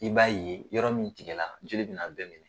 I b'a ye, yɔrɔ min tigɛla, jeli bɛn'a bɛɛ minɛ.